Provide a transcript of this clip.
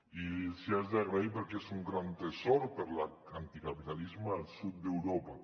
i els ho haig d’agrair perquè és un gran tresor per a l’anticapitalisme al sud d’europa